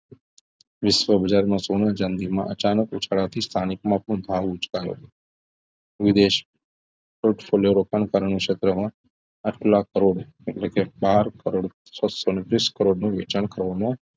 વિશ્વ બજારમાં સોના ચાંદીમાં અચાનક ઉછાળાથી સ્થાનિક માં પણ ભાવ ઉચકાયો છે વિદેશ portfolio રોકાણકારોની ક્ષેત્રમાં આંઠ લાખ કરોડ એટલે કે બાર કરોડ છસો ને વીસ કરોડ નું વેચાણ કરવામાં